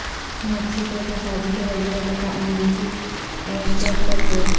Mexico کے سابق وزیر دفاع امریکی ائیرپورٹ پر گرفتار